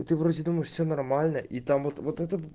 и ты вроде думаешь все нормально и там вот вот это